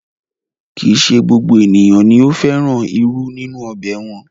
Kì í se gbogbo ènìyàn ni ó fẹ́ràn irú nínú ọbẹ̀ wọn